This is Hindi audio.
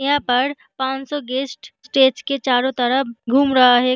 यहाँ पर पांच सौ गेस्ट स्टेज के चारो तरफ घूम रहा है।